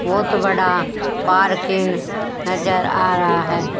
बहुत बड़ा पार्किंग नजर आ रहा है।